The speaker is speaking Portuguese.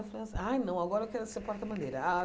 Eu falei assim, ai, não, agora eu quero ser porta-bandeira.